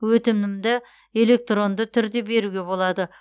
өтінімді электронды түрде беруге болады